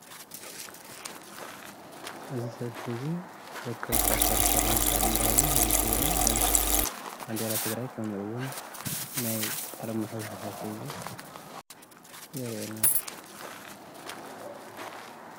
እዚ ሰልፊ ለካቲት 11 እንትኽበር እንትኸውን ህህቢ ትግራይን ባንዴራ ትግራይን ከምኡ እዉን አርማ ህወሓት የረእየና ኣሎ።